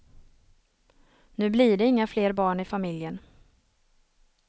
Nu blir det inga fler barn i familjen.